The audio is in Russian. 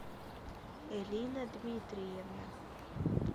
элина дмитриевна